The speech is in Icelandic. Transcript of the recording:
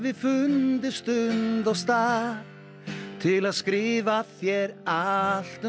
fundið stund og stað til að skrifa þér allt um